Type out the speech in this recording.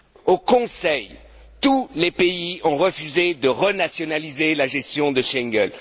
Au Conseil, tous les pays ont refusé de renationaliser la gestion de Schengen.